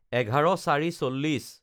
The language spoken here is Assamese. ১১/০৪/৪০